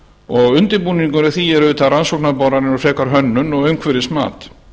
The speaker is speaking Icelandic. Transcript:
og undirbúningur að því er auðvitað rannsóknarboranir og frekar hönnun og umhverfismat